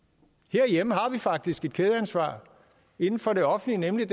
herhjemme har vi faktisk et kædeansvar inden for det offentlige nemlig